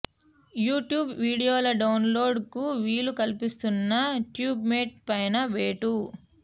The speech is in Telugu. యూట్యూబ్ వీడియోల డౌన్ లోడ్ కు వీలు కల్పిస్తున్న ట్యూబ్ మేట్ పైనా వేటు